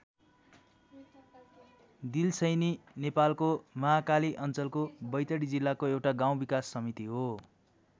दिल्सैनी नेपालको महाकाली अञ्चलको बैतडी जिल्लाको एउटा गाउँ विकास समिति हो।